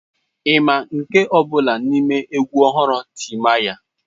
Ị ma nke ọ bụla n'ime egwu ọhụrụ Timaya?